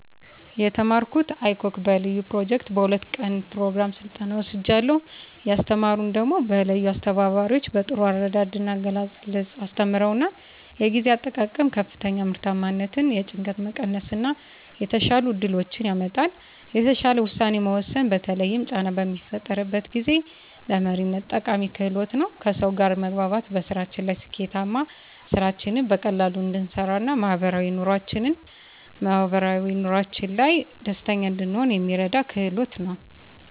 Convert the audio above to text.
የተማረኩት icog በለዩ ኘሮጀክት በ2 ቀን ኘሮግራም ስልጠናዉን ወስጃለሁ። ያስተማሩን ደሞ በለዩ አስተባባሪዎች በጥሩ አረዳድ ና አገላለፅ አስተምረዉናል። የጊዜ አጠቃቀም ከፍተኛ ምርታማነትን፣ የጭንቀት መቀነስ እና የተሻሉ እድሎችን ያመጣል። የተሻለ ዉሳኔ መወሰን በተለይም ጫና በሚፈጠርበት ጊዜ፣ ለመሪነት ጠቃሚ ክህሎት ነዉ። ከሰዉ ጋር መግባባት በስራችን ላይ ስኬታማ፣ ስራችንን በቀላሉ እንድንሰራ ና ማህበራዊ ኑሮአችን ላይ ደስተኛ እንድንሆን የሚረዳን ክህሎት ነዉ።